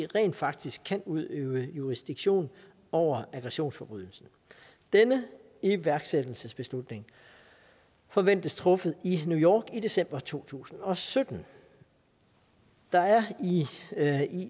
rent faktisk kan udøve jurisdiktion over aggressionsforbrydelsen denne iværksættelsesbeslutning forventes truffet i new york i december to tusind og sytten der er er i